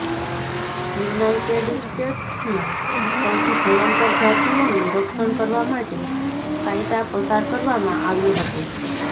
United સ્ટેટ્સમાં સૌથી ભયંકર જાતિઓનું રક્ષણ કરવા માટે કાયદા પસાર કરવામાં આવ્યો હતો